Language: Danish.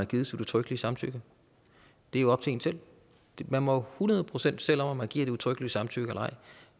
givet sit udtrykkelige samtykke det er jo op til en selv man må hundrede procent selv om om man giver et udtrykkeligt samtykke eller ej